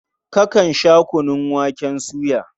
Kakan sha kunun waken soya?